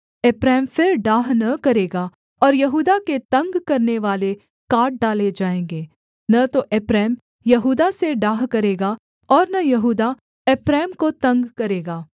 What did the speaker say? एप्रैम फिर डाह न करेगा और यहूदा के तंग करनेवाले काट डाले जाएँगे न तो एप्रैम यहूदा से डाह करेगा और न यहूदा एप्रैम को तंग करेगा